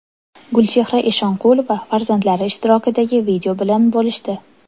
Gulchehra Eshonqulova farzandlari ishtirokidagi video bilan bo‘lishdi.